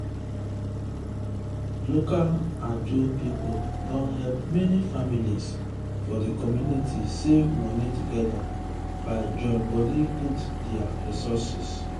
local ajo people don help many families for di community save money together by join body put their resources.